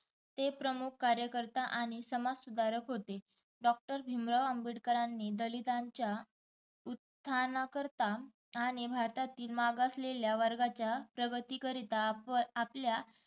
ते प्रमुख कार्यकर्ता आणि समाजसुधारक होते. doctor भिमराव आंबेडकरांनी दलितांच्या उत्थाना करता आणि भारतातील मागासलेल्या वर्गाच्या प्रगती करीता आप आपल्या